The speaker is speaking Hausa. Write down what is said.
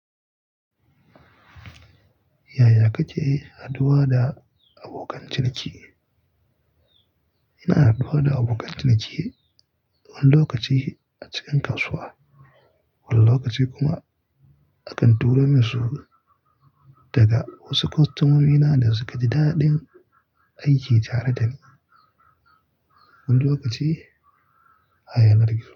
Yaya kace haduwa da abokan ciniki? Ina haduwa da abokan ciniki wani lokaci a cikin kasuwa, wani lokaci kuma akan turo minsu daga wasu kostomomina da suka ji daɗin aiki tare dani. Wani lokaci, a yanar gizo.